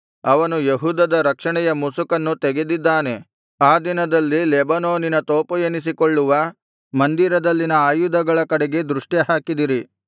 ಅವನು ಯೆಹೂದದ ರಕ್ಷಣೆಯ ಮುಸುಕನ್ನು ತೆಗೆದಿದ್ದಾನೆ ಆ ದಿನದಲ್ಲಿ ಲೆಬನೋನಿನ ತೋಪು ಎನಿಸಿಕೊಳ್ಳುವ ಮಂದಿರದಲ್ಲಿನ ಆಯುಧಗಳ ಕಡೆಗೆ ದೃಷ್ಟಿಹಾಕಿದಿರಿ